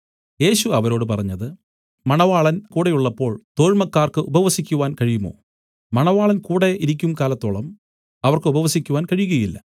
യേശു അവരോട് പറഞ്ഞത് മണവാളൻ കൂടെ ഉള്ളപ്പോൾ തോഴ്മക്കാർക്ക് ഉപവസിക്കുവാൻ കഴിയുമോ മണവാളൻ കൂടെ ഇരിക്കുംകാലത്തോളം അവർക്ക് ഉപവസിക്കുവാൻ കഴിയുകയില്ല